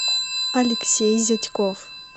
алексей зятьков